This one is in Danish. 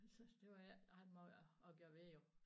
Så det var der ikke ret måj at gøre ved jo